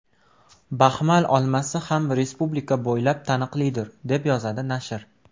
Baxmal olmasi ham respublika bo‘ylab taniqlidir”, deb yozadi nashr.